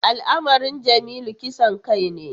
Al’amarin Jamilu kisan kai ne.